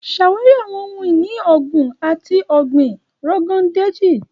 Ṣawari awọn ohun-ini oogun ti ọgbin Rogon Daji.